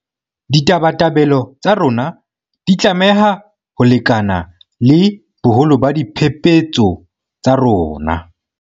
Ditabatabelo tsa rona di tlameha ho lekana le boholo ba diphephetso tsa rona.